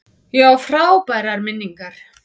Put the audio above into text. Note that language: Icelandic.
Ég á frábærar minningar.